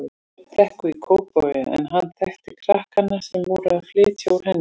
Þverbrekku í Kópavogi en hann þekkti krakkana sem voru að flytja úr henni.